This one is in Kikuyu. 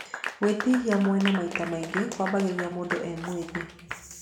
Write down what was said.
Gwĩtihia mwene maita maingĩ kwambagĩrĩria mũndũ e mwĩthĩ.